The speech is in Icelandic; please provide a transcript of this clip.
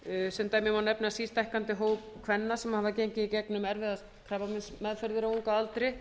sem dæmi má nefna sístækkandi hóp kvenna sem hafa gengið í gegnum erfiðar krabbameinsmeðferðir á unga aldri